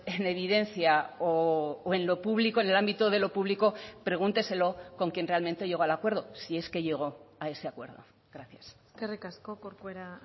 en evidencia o en lo público en el ámbito de lo público pregúnteselo con quien realmente llegó al acuerdo si es que llegó a ese acuerdo gracias eskerrik asko corcuera